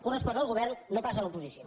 correspon al govern no pas a l’oposició